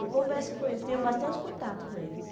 Eu converso com eles, tenho bastante contato com eles.